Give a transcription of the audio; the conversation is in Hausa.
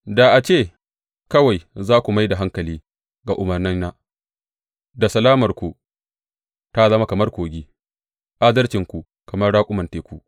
Da a ce kawai za ku mai da hankali ga umarnaina, da salamarku ta zama kamar kogi, adalcinku kamar raƙuman teku.